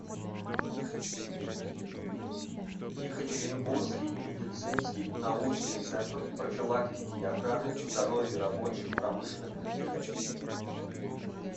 екатеринбургский медицинский научный центр профилактики и охраны здоровья рабочих промышленных предприятий